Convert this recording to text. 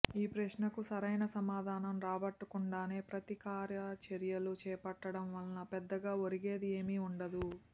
ఈ ప్రశ్నకు సరైన సమాధానం రాబట్టకుండానే ప్రతికారచర్యలు చేపట్టడంవల్ల పెద్దగా ఒరిగేది ఏమీ ఉండదు